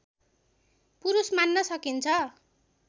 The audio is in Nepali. पुरुष मान्न सकिन्छ